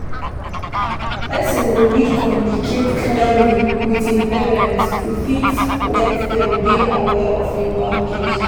Person go need to communicate clearly with im parents to fit let dem dey aware of im boundaries